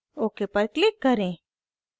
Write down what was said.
ok पर click करें